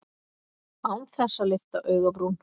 Án þess að lyfta augabrún.